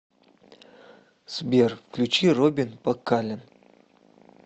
сбер включи робин пакален